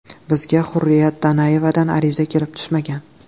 Bizga Hurriyat Donayevadan ariza kelib tushmagan.